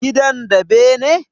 Gidan da bene?